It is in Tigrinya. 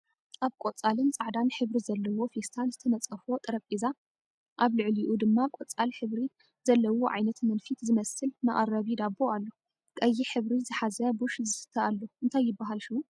ኣብ ቆፃልን ፃዕዳን ሕብሪ ዘለዎ ፌስታል ዝተነፆፈ ጠረጴዛ ኣብ ልዕልኡ ድማ ቆፃል ሕብቲ ዘለዎ ዓይነት መንፊት ዝመስል መቀረቢ ዳቢ ኣሎ። ቀይሕ ሕብሪ ዝሐዘ ቡሽ ዝስተ ኣሎ እንታይ ይብሃል ሽሙ?